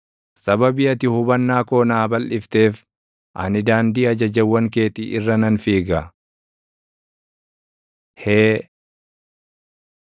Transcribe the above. Sababii ati hubannaa koo naa balʼifteef ani daandii ajajawwan keetii irra nan fiiga. ה Hee